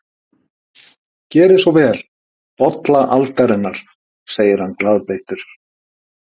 Gerið svo vel, bolla aldarinnar, segir hann glaðbeittur.